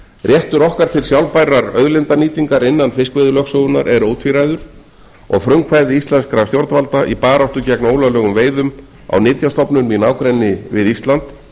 réttur okkar til sjálfbærrar auðlindanýtingar innan fiskveiðilögsögunnar er ótvíræður og frumkvæði íslenskra stjórnvalda í baráttu gegn ólöglegum veiðum á nytjastofnum í nágrenni við ísland